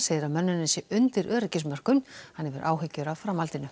segir að mönnunin sé undir öryggismörkum hann hefur áhyggjur af framhaldinu